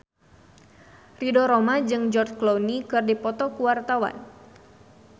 Ridho Roma jeung George Clooney keur dipoto ku wartawan